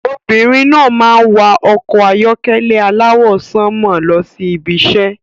Obìnrin náà máa ń wà ọkọ̀ ayọ́kẹ́lẹ́ aláwọ̀ sánmọ̀ lọ sí ibi iṣẹ́.